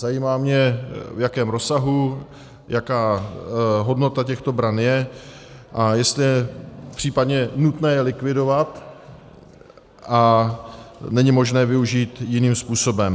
Zajímá mě, v jakém rozsahu, jaká hodnota těchto bran je a jestli je případně nutné je likvidovat a není možné využít jiným způsobem.